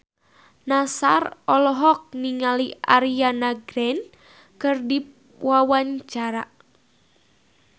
Nassar olohok ningali Ariana Grande keur diwawancara